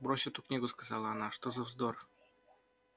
брось эту книгу сказала она что за вздор